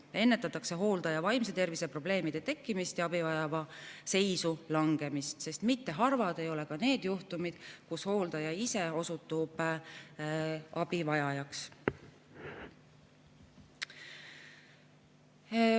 Nii ennetatakse hooldaja vaimse tervise probleemide tekkimist ja abivajaja seisu langemist, sest mitte harvad ei ole ka need juhtumid, kui hooldaja ise osutub abivajajaks.